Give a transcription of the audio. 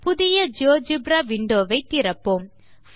புதிய GeoGebra window வை திறப்போம்